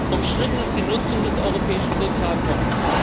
Umstritten ist die Nutzung des Europäischen Sozialfonds.